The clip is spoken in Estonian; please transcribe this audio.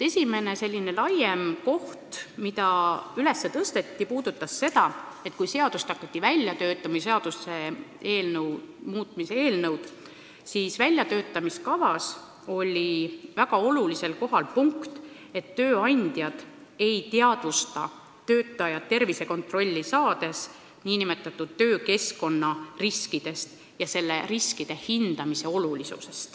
Esimene selline laiem teema, mis üles tõsteti, puudutas seda, et kui hakati välja töötama seaduse muutmise eelnõu, siis väljatöötamiskavas oli väga olulisel kohal punkt, et tööandjad ei teadvusta töötajat tervisekontrolli saates, kui oluline on hinnata töökeskkonna riske.